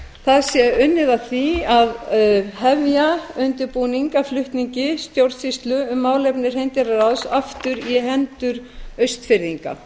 það sé unnið að því að hefja undirbúning að flutningi stjórnsýslu um málefni hreindýraráðs aftur í hendur austfirðinga